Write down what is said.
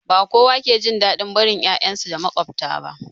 Ba kowa ke jin daɗin barin 'ya'yansu da maƙwabta ba